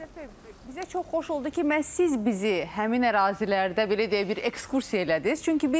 Əlövsət bəy, bizə çox xoş oldu ki, məhz siz bizi həmin ərazilərdə, belə deyək, bir ekskursiya elədiniz.